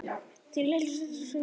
Þín litla systir, Sigrún Gréta.